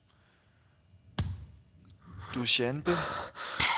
Dusjanbe